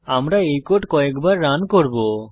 আমি এই কোড কয়েক বার রান করব